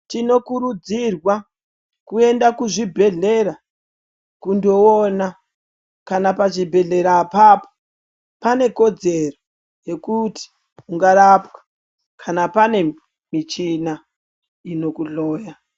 Tinokurudzirwa kuenda kuzvibhedhlera kundoona kana pazvibhedhlera ipapo pane kodzero yekuti ungarapwa kana pane michina ingakuhloya.